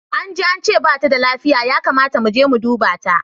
Anji ance bata da lafiya, ya kamata muje mu duba ta.